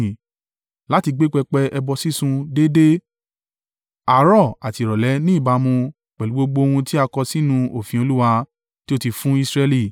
Láti gbé pẹpẹ ẹbọ sísun déédé, àárọ̀ àti ìrọ̀lẹ́ ní ìbámu pẹ̀lú gbogbo ohun tí a kọ sínú òfin Olúwa, tí ó ti fún Israẹli.